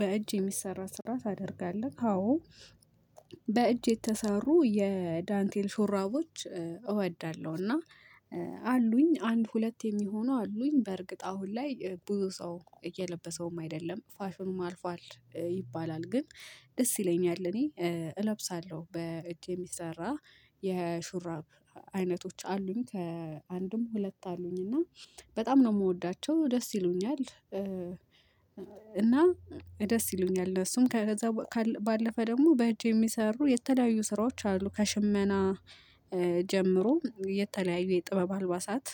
በእጅ የሚሰራ ስራ ታደርጋለህ? አዎ በእጅ የተሰሩ የዳንቴል ሾራቦች እወዳለሁ። እና አሉኝ አንድ ሁለት የሚሆኑ አሉኝ በእርግጥ አሁን ላይ ብዙ ሰው እየለበሰውም አይደለም ፋሽኑም አልፏል ይባላል ግን ደስ ይለኛል። እኔ እለብሳለሁ በእጅ የሚሰራ የሹራብ አይነቶች አሉኝ ከአንድም ሁለት አሉኝ እና በጣም ነው የምወዳቸው ደስ ይሉኛል። እና ደስ ይሉኛል እሱም ከዛ ባለፈ ደግሞ በእጄ የሚሰሩ የተለያዩ ስራዎች አሉ ከሽመና ጀምሮ የተለያዩ የጥበብ አልባሳት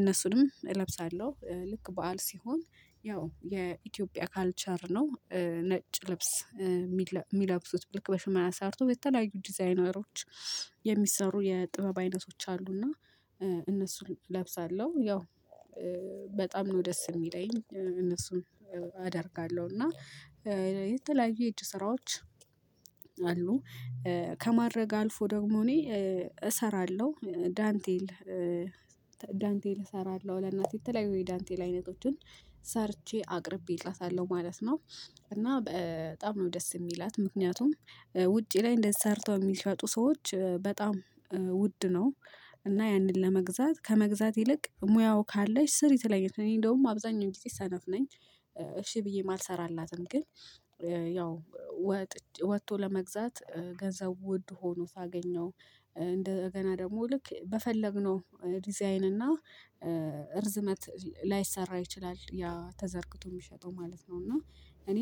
እነሱንም እለብሳለሁ። ልክ በዓል ሲሆን ያው የኢትዮጵያ ካልቸር ነው። ነጭ ልብስ የሚለብሱት ልክ በሽመና አሰርቶ የተለያዩ ዲዛይነሮች የሚሰሩ የጥበብ አይነቶች አሉና እነሱን እለብሳለሁ። ያው በጣም ነው ደስ የሚለኝ እነሱም አደርጋለሁ። እና የተለያዩ የእጅ ስራዎች አሉ ከማድረግ አልፎ ደግሞ እኔ እሰራለሁ። ዳንቴል እሰራለሁ ለእናቴ የተለያዩ ዳንቴል አይነቶችን ሰርቼ አቅርቤላታለሁ ማለት ነው። እና በጣም ነው ደስ የሚላት። ምክንያቱም ውጪ ላይ ሰርተው የሚሸጡ ሰዎች በጣም ውድ ነው። እና ያንን ለመግዛት ከመግዛት ይልቅ ሙያው ካለሽ ስሪ ትለኛለች። እኔ እንደውም አብዛኛው ጊዜ ሰነፍ ነኝ እሺ ብዬ አልሰራላትም። ግን ያው ወጥቶ ለመግዛት ገንዘብ ውድ ሆኖ ሳገኘው እንደገና ደግሞ ልክ በፈለግነው ዲዛይን እና እርዝመት ላይሰራ ይችላል። ያ ተዘርግቶ የሚሸጠው ማለት ነው እና እኔ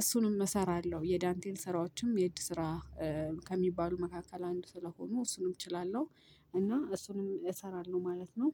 እሱንም እሰራለሁ። የዳንቴል ስራዎችም የእጅ ስራ ከሚባሉ መካከል አንድ ስለሆኑ እሱንም እችላለሁ እና እሱንም እሰራለሁ። ማለት ነው።